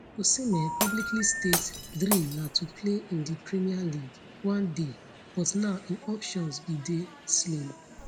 osimhen publicly state dream na to play in di premier league one day but now im options bin dey slim